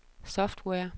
software